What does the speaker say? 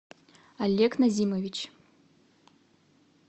олег назимович